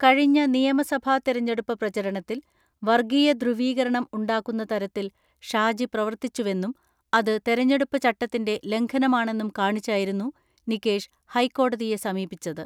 കഴിഞ്ഞ നിയമസഭാ തെരഞ്ഞെടുപ്പ് പ്രചരണത്തിൽ വർഗീയ ധ്രുവീകരണം ഉണ്ടാക്കുന്ന തരത്തിൽ ഷാജി പ്രവർത്തിച്ചുവെന്നും അത് തെര ഞ്ഞെടുപ്പ് ചട്ടത്തിന്റെ ലംഘനമാണെന്നും കാണിച്ചായിരുന്നു നികേഷ് ഹൈക്കോടതിയെ സമീപിച്ചത്.